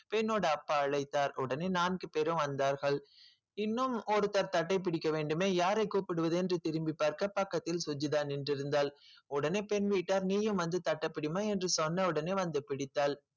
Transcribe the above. பெண்ணோட அப்பா அழைத்தார் உடனே நான்கு பேரும் வந்தார்கள் இன்னும் ஒருத்தர் தட்டைப் பிடிக்க வேண்டுமே யாரைக் கூப்பிடுவது என்று திரும்பிப் பார்க்க பக்கத்தில் சுஜிதா நின்றிருந்தாள் உடனே பெண் வீட்டார் நீயும் வந்து தட்டப் பிடிம்மா என்று சொன்ன உடனே வந்து பிடித்தாள்